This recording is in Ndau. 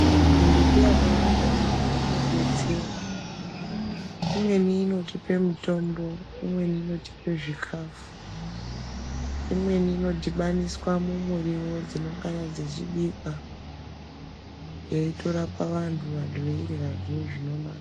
Mimbiti yakawanda yaamho inodetsera imweni inotipe mitombo imweni inotipe zvikafu, imweni inodhibaniswa mumiriwo dzinongana dzechibikwa yeitorapa vantu, veiryazve zvinonaka.